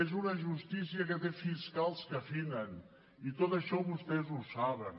és una justícia que té fiscals que afinen i tot això vostès ho saben